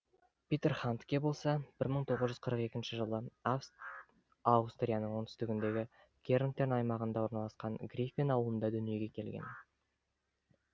питер хандке болса бір мың тоғыз жүз қырық екінші жылы аустрияның оңтүстігіндегі кернтен аймағында орналасқан гриффен ауылыда дүниеге келген